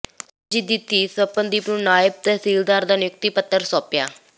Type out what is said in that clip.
ਸਰਬਜੀਤ ਦੀ ਧੀ ਸਵਪਨਦੀਪ ਨੂੰ ਨਾਇਬ ਤਹਿਸੀਲਦਾਰ ਦਾ ਨਿਯੁਕਤੀ ਪੱਤਰ ਸੌਂਪਿਆ